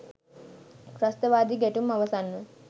ත්‍රස්තවාදී ගැටුම් අවසන්ව